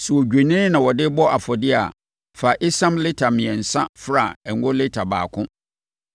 “ ‘Sɛ odwennini na wode rebɔ afɔdeɛ a, fa esiam lita mmiɛnsa fra ngo lita baako,